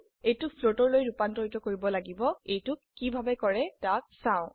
এইটোক ফ্লোটৰ লৈ ৰুপান্তৰ কৰিব লাগিব এইটোক কিভাবে কৰে তাক চাও